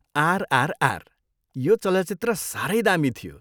आरआरआर, यो चलचित्र साह्रै दामी थियो।